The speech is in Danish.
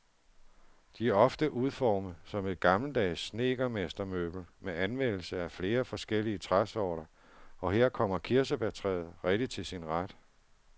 De er ofte udformet som et gammeldags snedkermestermøbel med anvendelsen af flere forskellige træsorter, og her kommer kirsebærtræet rigtig til sin ret.